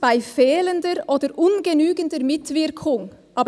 «bei fehlender oder ungenügender Mitwirkung».